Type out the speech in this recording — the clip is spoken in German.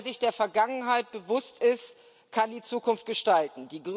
Nur wer sich der Vergangenheit bewusst ist, kann die Zukunft gestalten.